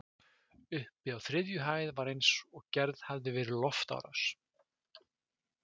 Uppi á þriðju hæð var eins og gerð hefði verið loftárás.